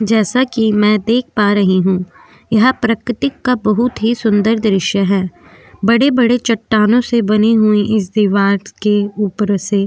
जैसा कि मैं देख पा रही हूं यह प्राकृतिक का बहुत ही सुंदर दृश्य है बड़े-बड़े चट्टानों से बनी हुई इस दीवार के ऊपर से --